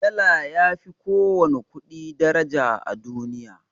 Dala yafi ko wani ƙudi daraja a duniya